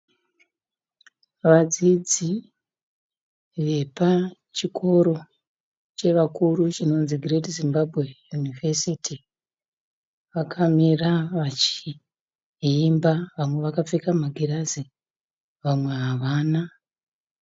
Vadzidzi vepachikoro chevakuru chinonzi Gireti Zimbabwe Yunivesiti. Vakamira vachiimba vamwe vakapfeka magirazi vamwe havana.